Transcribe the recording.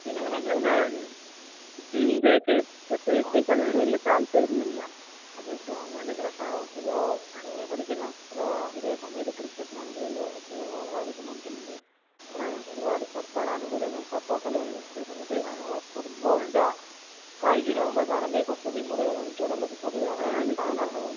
പിന്നെ എങ്ങനെ ഒക്കെ ആഹ് അത് ഗവണ്മെന്റിന്റെ പ്രശ്നം ആണല്ലോ? ഈ ഓഹ് നീ ശ്രദ്ധിച്ചുക്ക്ണോ അഥവാ ഇതേ സമയത്ത് ക്രിക്കറ്റിനാണെങ്കില് ഓരോ ഓരോ ആവശ്യം നമുക്കുണ്ട്.ഏകദേശം ഒരുപാട് സർക്കാർ ആനുകൂല്യങ്ങൾ സപ്പോർട്ടല്ലാം ഉണ്ട്. ഈ സമയത്ത് ഇപ്പൊ ഫുട്ബോളിന്റെ കായിക ലോകമാകുമ്പോ കാണാം എന്ത് കുറച്ചും കൂടി മുകളിൽ കാണിക്കാറൊള്ളു പൊതുവെ അങ്ങനെയാണ് കാണാറുള്ളതും.